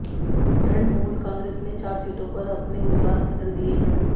Trinamool Congress ने चार सीटों पर अपने उम्मीदवार बदल दिए हैं